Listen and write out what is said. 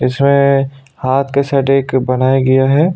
इसमें हाथ के साइड एक बनाया गया है।